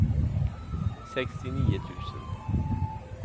sextionio tusen